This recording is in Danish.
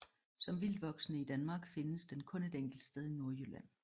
Som vildtvoksende i Danmark findes den kun et enkelt sted i Nordjylland